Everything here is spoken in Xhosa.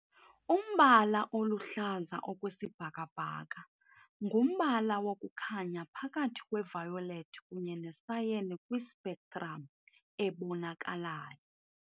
Umbala oluhlaza okwesibhakabhaka ngumbala wokukhanya phakathi kwe-violet kunye ne-cyan kwi- spectrum ebonakalayo.